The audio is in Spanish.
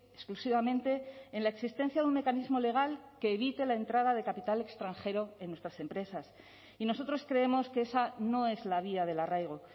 exclusivamente en la existencia de un mecanismo legal que evite la entrada de capital extranjero en nuestras empresas y nosotros creemos que esa no es la vía del arraigo